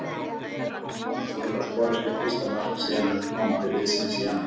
Hann vonast til að skora sitt fyrsta mark síðan hann kom til liðsins í janúar.